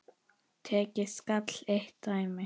Tekið skal eitt dæmi.